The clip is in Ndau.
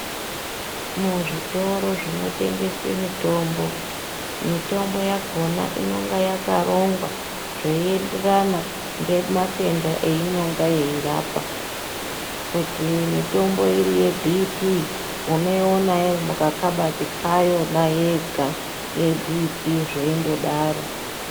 Muzvitoro zvinotengeswe mitombo, mitombo yakona inonga yakarongwa zveienderana ngematenda eyinonga yeirapa. Kuti mitombo iri yeBhiipii unoiona iri mukakabati kayona yega yeBhiipii, zveindodaro.